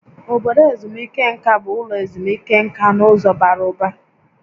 Obodo ezumike nka bụ ụlọ ezumike nka n'ụzọ bara ụba